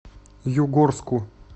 югорску